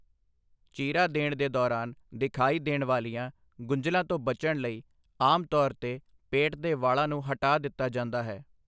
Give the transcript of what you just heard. ਚੀਰਾ ਦੇਣ ਦੇ ਦੌਰਾਨ ਦਿਖਾਈ ਦੇਣ ਵਾਲੀਆਂ ਗੁੰਝਲਾਂ ਤੋਂ ਬਚਣ ਲਈ ਆਮ ਤੌਰ 'ਤੇ ਪੇਟ ਦੇ ਵਾਲਾਂ ਨੂੰ ਹਟਾ ਦਿੱਤਾ ਜਾਂਦਾ ਹੈ।